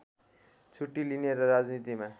छुट्टी लिने र राजनीतिमा